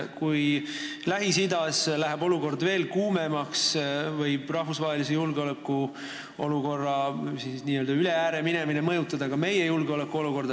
Kui Lähis-Idas läheb olukord veel kuumemaks, võib rahvusvahelise julgeolekuolukorra üle ääre keemine mõjutada ka meie julgeolekut.